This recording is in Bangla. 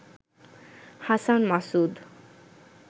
হাসান মাসুদ